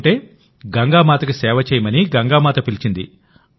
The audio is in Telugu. లేకుంటే గంగామాతకి సేవ చేయమని గంగామాత పిలిచింది